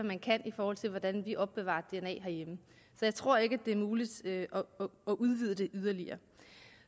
man kan i forhold til hvordan vi opbevarer dna herhjemme så jeg tror ikke at det er muligt at udvide det yderligere